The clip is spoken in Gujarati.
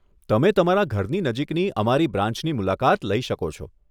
તમે તમારા ઘરની નજીકની અમારી બ્રાન્ચની મુલાકાત લઇ શકો છો.